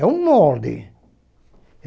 É um molde.